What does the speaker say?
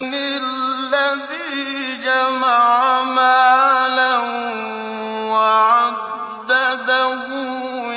الَّذِي جَمَعَ مَالًا وَعَدَّدَهُ